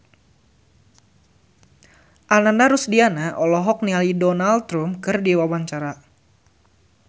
Ananda Rusdiana olohok ningali Donald Trump keur diwawancara